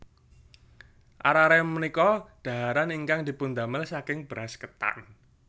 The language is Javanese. Arare punika dhaharan ingkang dipundamel saking beras ketan